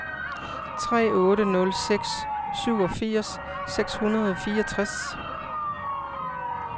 tre otte nul seks syvogfirs seks hundrede og fireogtres